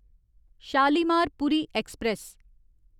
Shalimar Puri express